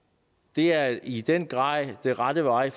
det er i den grad den rette vej